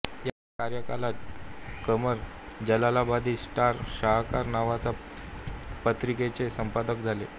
याच कार्यकालात क़मर जलालाबादी स्टार शाहकार नावाच्या पत्रिकेचे संपादक झाले